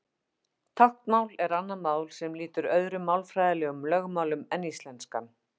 Táknmál er annað mál sem lýtur öðrum málfræðilegum lögmálum en íslenskan.